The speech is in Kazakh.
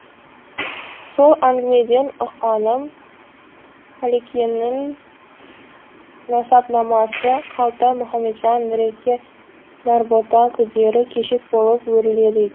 сол әңгімеден ұққаным қалекеңнің насабнамасы қалтай мұхамеджан нұреке нарбота күдері көшек болып өріледі екен